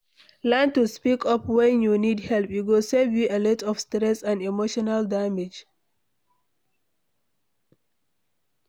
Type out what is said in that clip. Learn to speak up when you need help, e go save you alot of stress and emotional damage